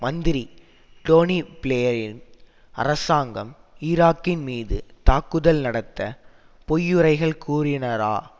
மந்திரி டோனி பிளேயரின் அரசாங்கம் ஈராக்கின் மீது தாக்குதல் நடத்த பொய்யுரைகள் கூறினரா